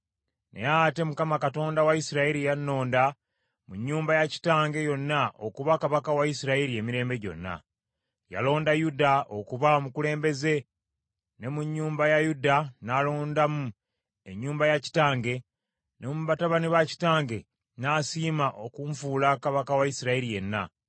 “Naye ate Mukama Katonda wa Isirayiri yannonda mu nnyumba ya kitange yonna okuba kabaka wa Isirayiri emirembe gyonna. Yalonda Yuda okuba omukulembeze, ne mu nnyumba ya Yuda n’alondamu ennyumba ya kitange, ne mu batabani ba kitange n’asiima okunfuula kabaka wa Isirayiri yenna.